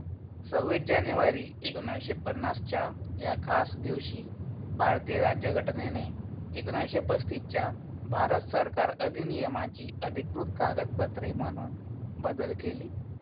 सव्वीस जानेवारी एकोणीशे पन्नासच्या या खास दिवशी भारतीय राज्यघटनेने एकोणीशे पस्तीसच्या भारत सरकार अधिनियमाची अधिकृत कागदपत्रे म्हणून बदल केली.